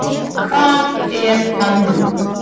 Hvar er það nú?